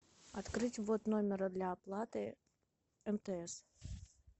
открыть ввод номера для оплаты мтс